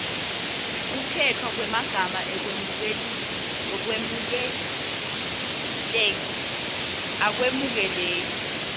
kukhetfwa kwemagama akwemukeleki